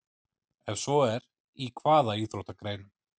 Ef svo er, í hvaða íþróttagreinum?